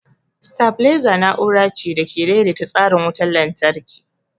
Sitabileza na'ura ce da ke daidaita tsarin wutar lantarki.